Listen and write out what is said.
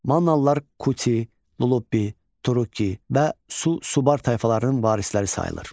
Mannalılar kuti, lullubbi, turukki və su-subar tayfalarının varisləri sayılır.